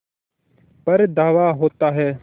पर धावा होता है